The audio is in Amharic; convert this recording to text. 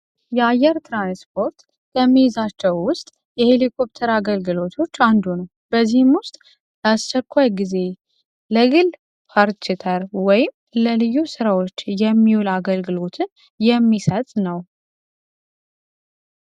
የአየር ትራንስፖርት ውስጥ አገልግሎቶች አንዱ ነው በዚህም ውስጥ አስቸኳይ ጊዜ ለልዩ ስራዎችን የሚውል አገልግሎትን የሚሰጥ ነው።